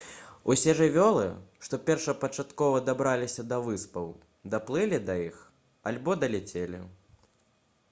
усе жывёлы што першапачаткова дабраліся да выспаў даплылі да іх альбо даляцелі